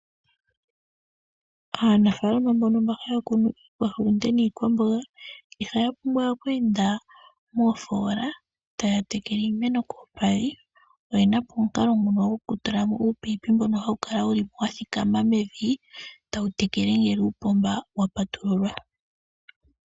Aanafalama mbono mba haya kunu iihulunde niikwamboga, ihaya pumbwa oku enda moofoola taya tekele iimeno kolupadhi. Oye na po omukalo nguno gokutula mo uupayipi mbono hawu kala wu li wa thikama mevi, tawu tekele ngele uupomba wa patululwa.